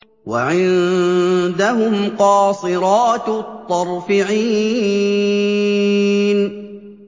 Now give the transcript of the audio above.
وَعِندَهُمْ قَاصِرَاتُ الطَّرْفِ عِينٌ